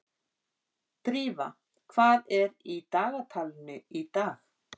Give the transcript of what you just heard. Drífa, hvað er í dagatalinu í dag?